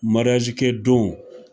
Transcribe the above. kɛ don,